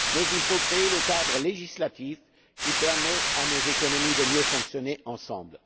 Nous devons donc créer le cadre législatif qui permette à nos économies de mieux fonctionner ensemble.